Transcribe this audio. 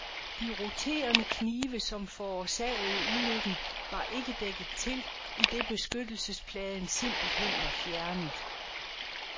De roterende knive, som forårsagede ulykken, var ikke dækket til, idet beskyttelsespladen simpelthen var fjernet.